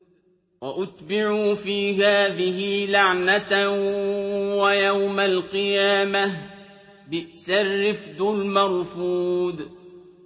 وَأُتْبِعُوا فِي هَٰذِهِ لَعْنَةً وَيَوْمَ الْقِيَامَةِ ۚ بِئْسَ الرِّفْدُ الْمَرْفُودُ